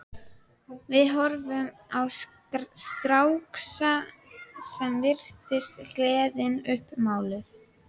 Við horfðum á stráksa sem virtist gleðin uppmáluð.